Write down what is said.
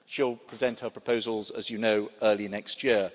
She will present her proposals, as you know, early next year.